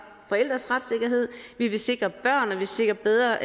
forældres retssikkerhed vi ville sikre børn og vi ville sikre bedre